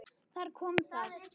Þar kom það.